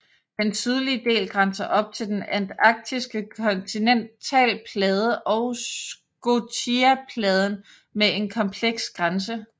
Den sydlige del grænser op til den antarktiske kontinentalplade og scotiapladen med en kompleks grænse